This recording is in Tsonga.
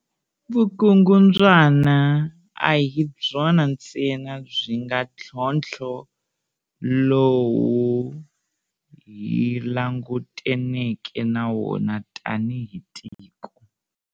Vukungundzwana a hi byona ntsena byi nga ntlhontlho lowu hi langutaneke na wona tanihi tiko.